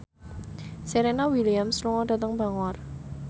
Serena Williams lunga dhateng Bangor